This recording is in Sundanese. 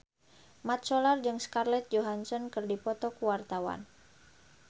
Mat Solar jeung Scarlett Johansson keur dipoto ku wartawan